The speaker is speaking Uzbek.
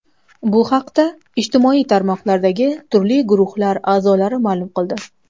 Bu haqda ijtimoiy tarmoqlardagi turli guruhlar a’zolari ma’lum qildi.